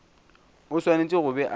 o swanetše go be a